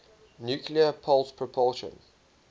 nuclear pulse propulsion